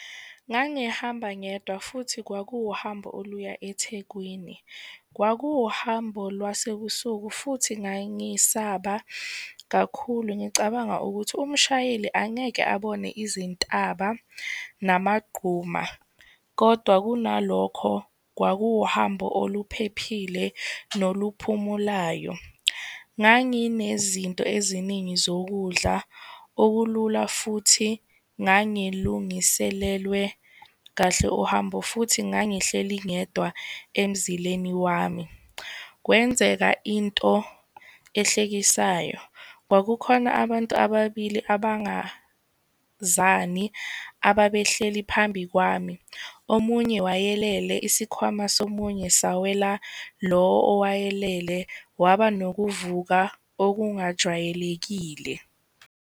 Ngangihamba ngedwa, futhi kwakuwuhambo oluya eThekwini. Kwakuwuhambo lwasebusuku, futhi ngangisaba kakhulu ngicabanga ukuthi umshayeli angeke abone izintaba namagquma. Kodwa, kunalokho kwakuwuhambo oluphephile noluphumulayo. Nganginezinto eziningi zokudla, okulula futhi ngangilungiselelwe kahle uhambo, futhi ngangihleli ngedwa emzileni wami. Kwenzeka into ehlekisayo. Kwakukhona abantu ababili abangazani, ababehleli phambi kwami. Omunye wayelele, isikhwama somunye sawela lo owayelele, waba nokuvuka okungajwayelekile.